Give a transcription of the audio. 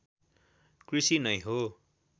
कृषि नै हो